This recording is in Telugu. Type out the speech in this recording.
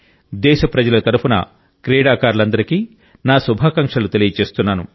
దేశప్రజల తరపున క్రీడాకారులందరికీ నా శుభాకాంక్షలు తెలియజేస్తున్నాను